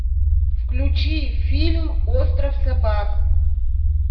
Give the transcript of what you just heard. включи фильм остров собак